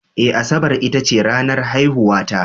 Eh, Asabar ita ce ranar haihuwata